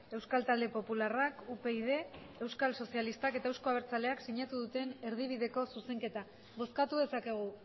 euskal talde popularrak upyd euskal sozialistak eta euzko abertzaleak sinatu duten erdibideko zuzenketa bozkatu dezakegu